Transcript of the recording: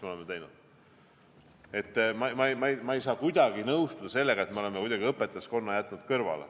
Ma ei saa kuidagi nõustuda sellega, et me oleme õpetajaskonna kuidagi kõrvale jätnud.